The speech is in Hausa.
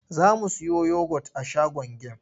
Za mu siyo yogot a shagon gem.